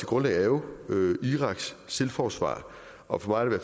grundlag er jo iraks selvforsvar og for